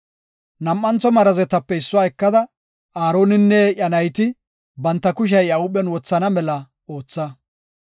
“Nam7u marazetape issuwa ekada, Aaroninne iya nayti banta kushiya iya huuphen wothana mela ootha.